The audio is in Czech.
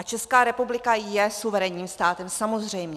A Česká republika je suverénním státem, samozřejmě.